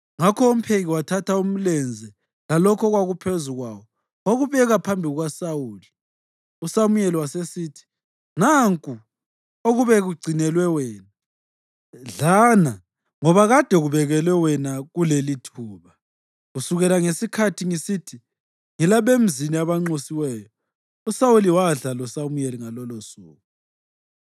Ngakho umpheki wathatha umlenze lalokho okwakuphezu kwawo, wakubeka phambi kukaSawuli. USamuyeli wasesithi, “Nanku okube kugcinelwe wena. Dlana, ngoba kade kubekelwe wena kulelithuba, kusukela ngesikhathi ngisithi, ‘Ngilabemzini abanxusiweyo.’ ” USawuli wadla loSamuyeli ngalolosuku.